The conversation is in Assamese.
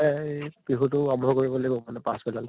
এই বিহুটো আৰম্ভ কৰিব লাগিব মানে পাছ বেলালে